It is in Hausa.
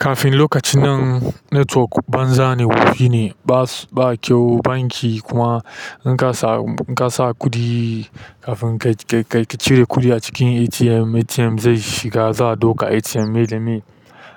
Kafin lokacin nan network banza ne, wofi ne ba kyau banki kuma in ka sa, ka sa kuɗi kafin ka. Ka cire kuɗi a cikin ATM, ATM zai shiga za a ɗauka ATM me da me.